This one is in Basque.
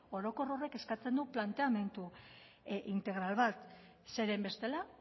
orokor horrek eskatzen du planteamendu integral bat zeren bestela